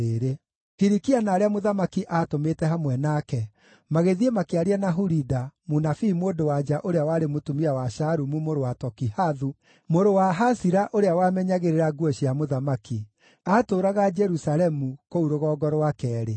Hilikia na arĩa mũthamaki aatũmĩte hamwe nake magĩthiĩ makĩaria na Hulida, mũnabii mũndũ-wa-nja ũrĩa warĩ mũtumia wa Shalumu mũrũ wa Tokihathu mũrũ wa Hasira ũrĩa wamenyagĩrĩra nguo cia mũthamaki. Aatũũraga Jerusalemu, kũu Rũgongo rwa Keerĩ.